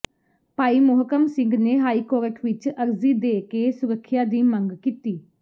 ਭਾਈ ਮੋਹਕਮ ਸਿੰਘ ਨੇ ਹਾਈਕੋਰਟ ਵਿੱਚ ਅਰਜ਼ੀ ਦੇ ਕੇ ਸੁਰੱਖਿਆ ਦੀ ਮੰਗ ਕੀਤੀ